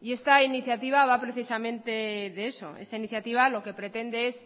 y esta iniciativa va precisamente de eso esta iniciativa lo que pretende es